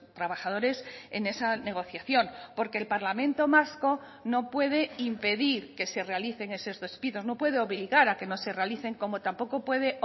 trabajadores en esa negociación porque el parlamento vasco no puede impedir que se realicen esos despidos no puede obligar a que no se realicen como tampoco puede